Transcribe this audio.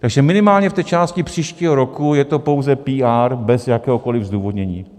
Takže minimálně v té části příštího roku je to pouze PR bez jakéhokoliv zdůvodnění.